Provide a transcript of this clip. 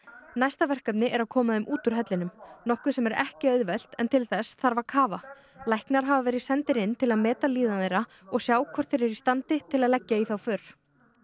næsta verkefni er að koma þeim út úr hellinum nokkuð sem er ekki auðvelt en til þess þarf að kafa læknar hafa verið sendir inn til að meta líðan þeirra og sjá hvort þeir eru í standi til að leggja í þá för